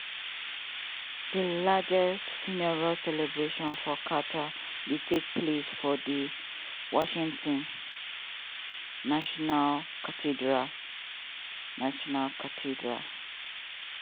di largest funeral celebration for carter dey take place for di washington national cathedral. national cathedral.